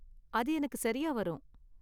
அது எனக்கு சரியா வரும்.